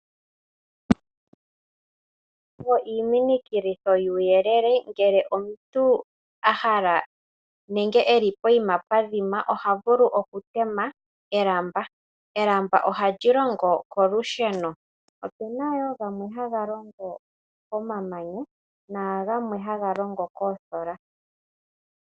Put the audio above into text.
Iiminikilitho yuuyelele ngele omuntu ahala nenge eli pehala pwadhima, oha vulu oku tema elamba, elamba oha li longo kolusheno, opuna woo gamwe ha ga longo komamanya nenge kEtango.